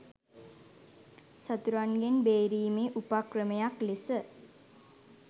සතුරන්ගෙන් බේරීමේ උපක්‍රමයක් ලෙස